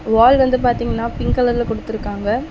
வால் வந்து பாத்தீங்னா பிங்க் கலர்ல குடுத்துருக்காங்க.